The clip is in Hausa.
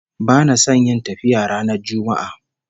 Bana son yin tafiya ranar Juma'a